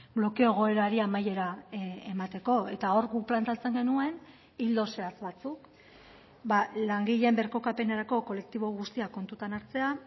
blokeo egoerari amaiera emateko eta hor guk planteatzen genuen ildo zehatz batzuk langileen birkokapenerako kolektibo guztia kontutan hartzea